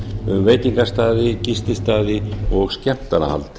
um veitingastaði gististaði og skemmtanahald